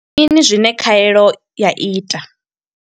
Ndi mini zwine khaelo ya ita?